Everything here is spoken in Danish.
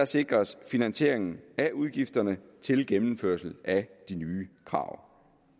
sikres finansieringen af udgifterne til gennemførelse af de nye krav